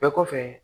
Bɛɛ kɔfɛ